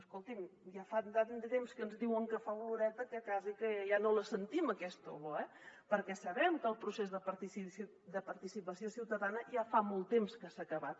escolti’m ja fa tant de temps que ens diuen que fa oloreta que quasi ja no la sentim aquesta olor eh perquè sabem que el procés de participació ciutadana ja fa molt temps que s’ha acabat